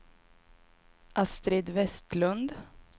Astrid Vestlund